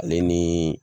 Ale ni